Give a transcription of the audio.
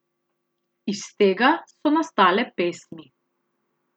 Iz tega so nastale pesmi.